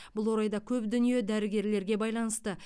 бұл орайда көп дүние дәрігерлерге байланысты